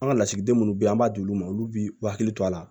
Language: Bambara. An ka lasigiden minnu bɛ yen an b'a d'olu ma olu bɛ hakili to a la